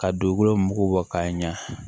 Ka dugukolo mugu bɔ k'a ɲa